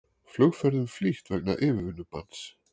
Flugferðum flýtt vegna yfirvinnubanns